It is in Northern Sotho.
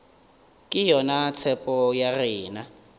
ke yona tshepo ya rena